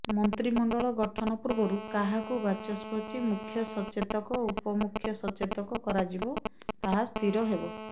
ମନ୍ତ୍ରିମଣ୍ଡଳ ଗଠନ ପୂର୍ବରୁ କାହାକୁ ବାଚସ୍ପତି ମୁଖ୍ୟସଚେତକ ଉପମୁଖ୍ୟ ସଚେତକ କରଯିବ ତାହା ସ୍ଥିର ହେବ